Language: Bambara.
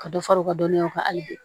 Ka dɔ fara u ka dɔnniya kan hali bi